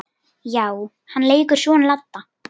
Já, hann leikur son Ladda.